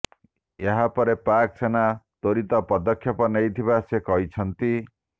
ଏହାପରେ ପାକ୍ ସେନା ତ୍ୱରିତ ପଦକ୍ଷେପ ନେଇଥିବା ସେ କହିଛନ୍ତି